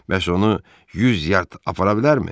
Bəs onu 100 yard apara bilərmi?